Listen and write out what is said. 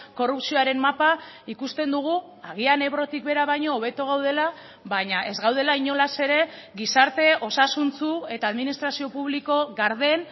korrupzioaren mapa ikusten dugu agian ebrotik behera baino hobeto gaudela baina ez gaudela inolaz ere gizarte osasuntsu eta administrazio publiko garden